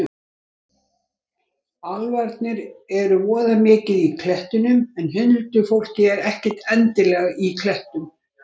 Álfarnir eru voða mikið í klettunum en huldufólkið er ekkert endilega í klettum.